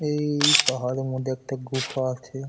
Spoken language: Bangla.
এই পাহাড়ের মধ্যে একটা গুহা আছে।